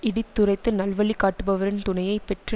இடித்துரைத்து நல்வழி காட்டுபவரின் துணையை பெற்று